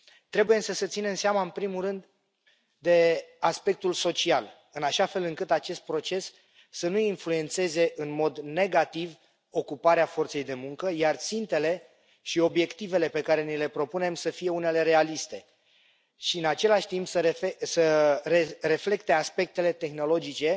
Trebuie însă să ținem seama, în primul rând, de aspectul social, în așa fel încât acest proces să nu influențeze în mod negativ ocuparea forței de muncă, iar țintele și obiectivele pe care ni le propunem să fie unele realiste și, în același timp, să reflecte aspectele tehnologice